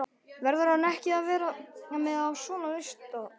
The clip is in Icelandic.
Verður hann ekki að vera með á svona lista?